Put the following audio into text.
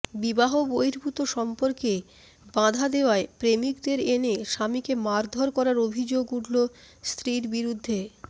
বিবাহ বহির্ভূত সম্পর্কে বাঁধা দেওয়ায় প্রেমিকদের এনে স্বামীকে মারধর করার অভিযোগ উঠল স্ত্রীর বিরুদ্ধে